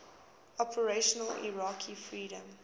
operation iraqi freedom